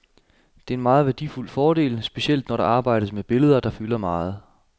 Det er en meget værdifuld fordel, specielt når der arbejdes med billeder der fylder meget.